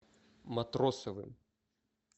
матросовым